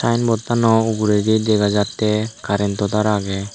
signboard tano uguredi dega jatte karrento tar agey.